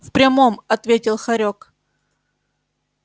в прямом ответил хорёк